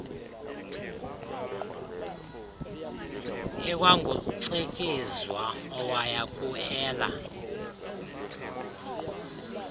ikwangucikizwa owaya kueela